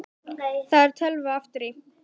Það er tölva aftur í.